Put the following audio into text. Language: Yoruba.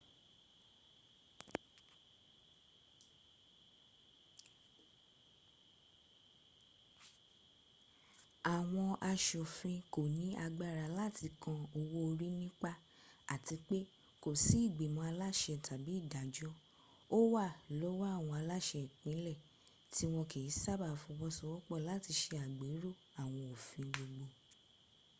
àwọn aṣòfin kò ní agbára láti kan owó orí nípá àti pé kò sí ìgbìmọ̀ aláṣẹ tàbí ìdàjọ́ ó wà lọ́wọ́ àwọn aláṣẹ́ ìpínlẹ̀ tí wọ́n kì í sábàá fọwọ́ṣowọ́pọ̀ láti se àgbéró àwọn òfin gbogbo